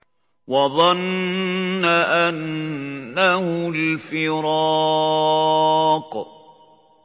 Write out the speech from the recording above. وَظَنَّ أَنَّهُ الْفِرَاقُ